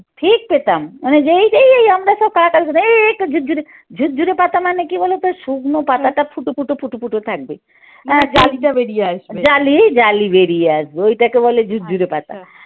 ঠিক পেতাম মানে যেই যেই এই আমরা সব কালা কালা এই এই তো ঝুরঝুরে, ঝুরঝুরে পাতা মানে কি বলতো শুকনো পাতাটা ফুটো ফুটো ফুটো ফুটো থাকবে। জালি, জালি বেরিয়ে আসবে। ওইটাকে বলে ঝুরঝুরে পাতা।